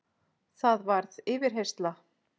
Það varð yfirheyrsla.